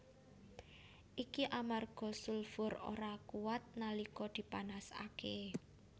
Iki amarga sulfur ora kuwat nalika dipanasaké